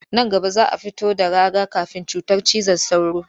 Nan gaba za a fito da raga-kafin cutar cizon sauro